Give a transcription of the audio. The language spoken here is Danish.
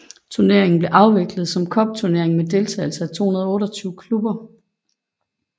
Turneringen blev afviklet som en cupturnering med deltagelse af 228 klubber